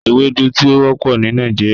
Ewedu ti o wọpọ ni Nigeria.